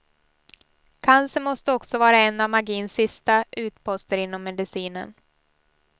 Cancer måste också vara en av magins sista utposter inom medicinen.